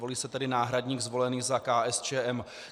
Volí se tedy náhradník zvolený za KSČM.